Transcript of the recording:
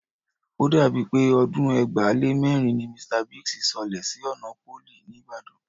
O dàbí pé ọdún ẹgbàá lé mẹ́rin ni Mr Biggs sọlẹ̀ sí ọ̀nà Pólì, ní Ìbàdàn